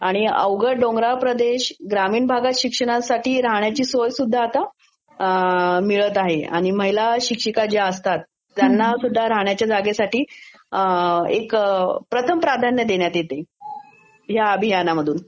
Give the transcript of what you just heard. अवघडं डोगराळ प्रदेश ग्राणीण भागात शिक्षणासाठी राहण्याची सोयसुध्दा आता मिळतं आहे. आणि महिला शिक्षिका ज्या असतात, त्यांनासुध्दा आता राहण्याच्या जागेसाठी प्रथम प्राध्यान्य देण्यात येते, ह्या अभियानामधून.